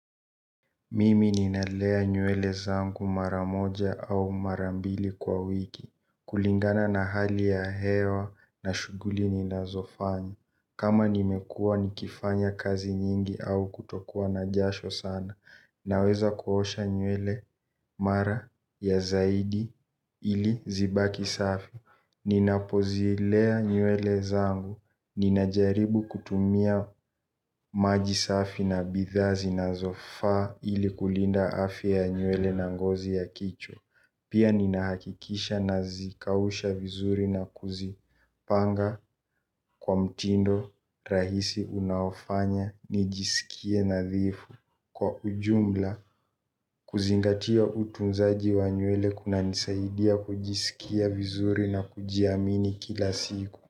Mimi ninalea nywele zangu maramoja au marambili kwa wiki. Kulingana na hali ya hewa na shughuli ninazofanya kama nimekua nikifanya kazi nyingi au kutokua na jasho sana naweza kuosha nywele mara ya zaidi ili zibaki kuwa safi. Ninapozilea nywele zangu ninajaribu kutumia maji safi na bidhaa zinazofaa ili kulinda afya ya nywele na ngozi ya kichwa. Pia ninahakikisha nazikausha vizuri na kuzipanga kwa mtindo rahisi unaofanya nijisikie nadhifu. Kwa ujumla kuzingatia utunzaji wa nywele kunanisaidia kujisikia vizuri na kujiamini kila siku.